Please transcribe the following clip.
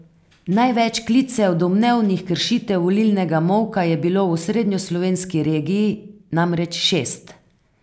Največ klicev domnevnih kršitev volilnega molka je bilo v osrednjeslovenski regiji, namreč šest.